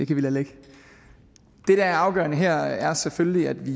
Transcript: kan vi lade ligge det der er afgørende her er selvfølgelig at vi